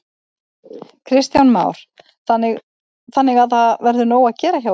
Kristján Már: Þannig að það verður nóg að gera hjá ykkur?